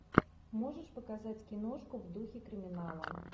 можешь показать киношку в духе криминала